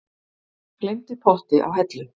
Gleymdi potti á hellu